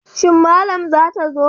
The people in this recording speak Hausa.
Shin malam zata zo?